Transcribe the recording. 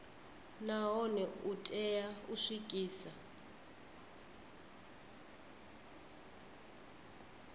nahone u tea u swikisa